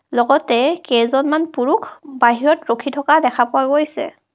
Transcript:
লগতে কেইজনমান পুৰুখ বাহিৰত ৰখি থকা দেখা পোৱা গৈছে.